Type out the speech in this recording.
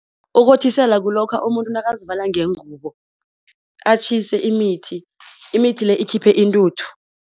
Ukothisela kulokha umuntu nakazivala ngengubo atjhise imithi, imithi le ikhiphe intuthu.